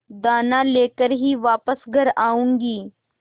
दाना लेकर ही वापस घर आऊँगी